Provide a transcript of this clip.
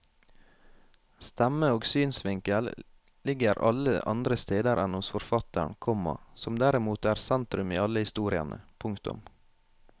Stemme og synsvinkel ligger alle andre steder enn hos forfatteren, komma som derimot er sentrum i alle historiene. punktum